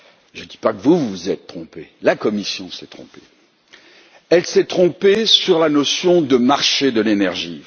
Je ne dis pas que vous vous êtes trompé, je dis que la Commission s'est trompée. Elle s'est trompée sur la notion de marché de l'énergie.